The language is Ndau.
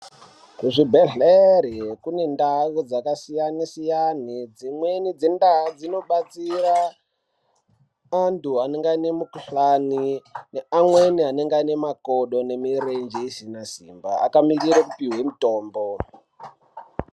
Kuzvibhehlere kune ndau dzakasiyane siyane dzimweni dzendau dzinobatsira antu anenge ane mukuhlani neamweni anenge ane makodo nemirenje isina simba akamirira kupihwe mutombo.